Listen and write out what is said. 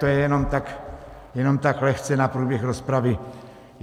To je jenom tak lehce na průběh rozpravy.